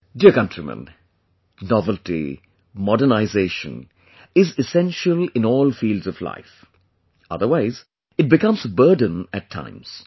Dear countrymen, novelty, modernization is essential in all fields of life, otherwise it becomes a burden at times